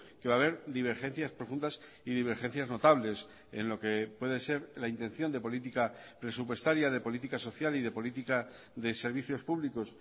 que va haber divergencias profundas y divergencias notables en lo que puede ser la intención de política presupuestaria de política social y de política de servicios públicos